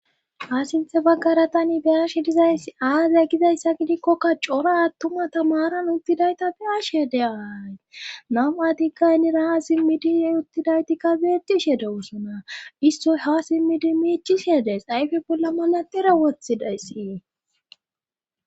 Ha sinthe baggara tani bi'ashe dizayss aaze gizayssa gidikkokka cora attuma tamaran uttidayta be7ashe de ay nam7ati gay nira ha simmidie uttidaytikka beecishe dewosona istoy ha simmidi miichishe dees ayfe bolla manaxera wothidayssii.